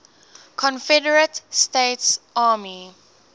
confederate states army